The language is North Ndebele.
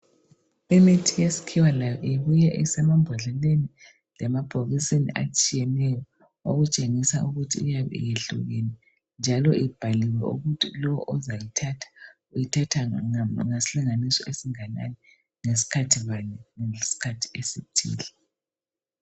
Imithi yesikhiwa layo ibuya isemambodleleni lemabhokisini atshiyeneyo okutshengisa ukuthi iyabe iyehlukile njalo ibhaliwe ukuthi lo ozayithatha uyithatha ngasilinganiso esinganani, ngesikhathi bani, ngesikhathi esithile.